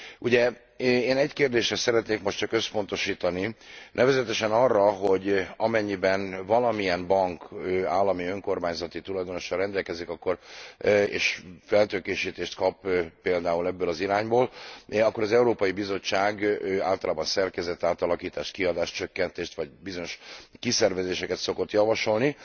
Ugye, én egy kérdésre szeretnék most csak összpontosítani, nevezetesen arra, hogy amennyiben valamilyen bank állami önkormányzati tulajdonossal rendelkezik, és feltőkésítést kap például ebből az irányból, akkor az Európai Bizottság általában szerkezetátalakítást, kiadáscsökkentést vagy bizonyos kiszervezéseket szokott javasolni.